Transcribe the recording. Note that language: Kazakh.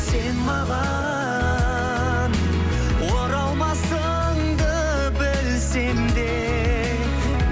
сен маған оралмасыңды білсем де